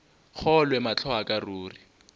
kgolwe mahlo a ka ruri